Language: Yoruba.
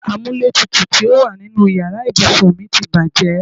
Amúlétutù tí ó wà nínú ìyára ibùsùn mi ti bàjẹ́.